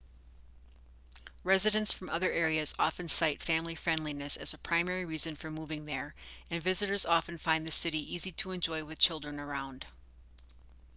residents from other areas often cite family-friendliness as a primary reason for moving there and visitors often find the city easy to enjoy with children around